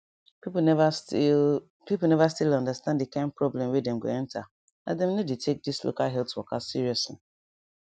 people never still people never still understand the kind problem wey dem go enter as dem no de take this local health waka seriously